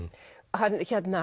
hann